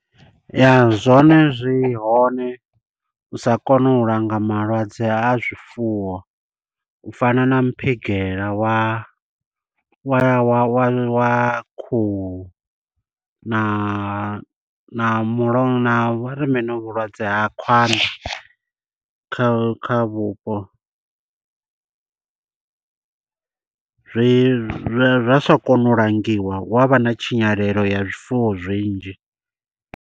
Ya, zwone zwi hone, u sa kona u langa malwadze a zwifuwo. U fana na muphigela wa wa wa wa wa khuhu, na na mulo na vhari mini hovhu vhulwadze ha khwanḓa kha kha vhupo. Zwi zwa zwa sa kona u langiwa, hu avha na tshinyalelo ya zwifuwo zwinzhi.